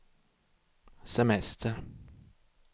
semester